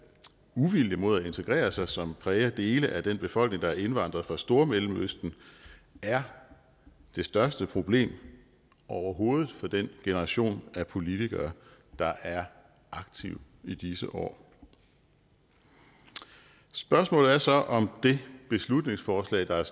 uvilje mod at integrere sig som præger dele af den befolkning der er indvandret fra stormellemøsten er det største problem overhovedet for den generation af politikere der er aktive i disse år spørgsmålet er så om det beslutningsforslag der er